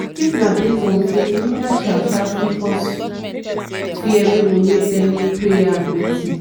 if na based on faith media shout shout fit cause fear wey go make dem need prayer and medicine.